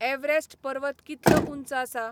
Everest पर्वत कितलो ऊंच आसा?